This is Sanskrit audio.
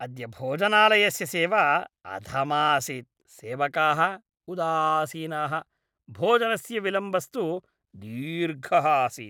अद्य भोजनालयस्य सेवा अधमा आसीत्। सेवकाः उदासीनाः, भोजनस्य विलम्बस्तु दीर्घः आसीत्।